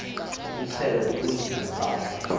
umxhelo bubunzima baloo